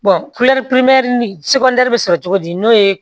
bɛ sɔrɔ cogo di n'o ye